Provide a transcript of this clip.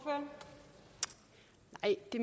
at det